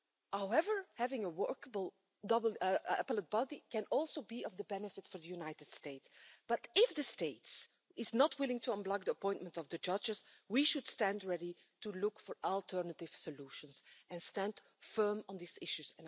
However, having a workable Appellate Body can also be of benefit for the United States, but if the States are not willing to unblock the appointment of the judges, we should stand ready to look for alternative solutions and stand firm on these issues.